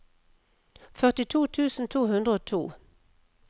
førtito tusen to hundre og to